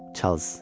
Çarlz.